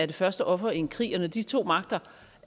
det første offer i en krig og når de to magter